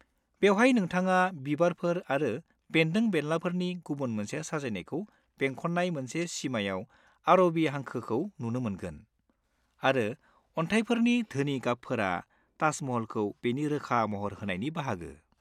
-बेवहाय नोंथाङा बिबारफोर आरो बेन्दों-बेनलाफोरनि गुबुन मोनसे साजायनायखौ बेंखननाय मोनसे सिमायाव आरबि हांखोखौ नुनो मोनगोन, आरो अन्थाइफोरनि धोनि गाबफोरा ताज महलखौ बेनि रोखा महर होनायनि बाहागो।